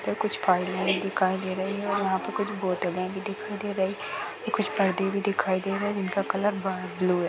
और कुछ फाइलें भी दिखाई दे रही है और यहां पे कुछ बोतलें भी दिखाई दे रही है ये कुछ परदे भी दिखाई दे रहे है जिनका कलर ब-ब्लू है।